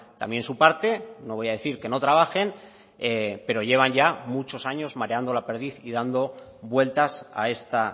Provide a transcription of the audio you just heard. también su parte no voy a decir que no trabajen pero llevan ya muchos años mareando la perdiz y dando vueltas a esta